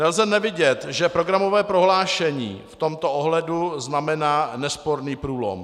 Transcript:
Nelze nevidět, že programové prohlášení v tomto ohledu znamená nesporný průlom.